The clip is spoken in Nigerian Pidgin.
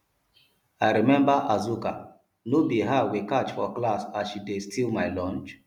i remember azuka no be her we catch for class as she dey steal my lunch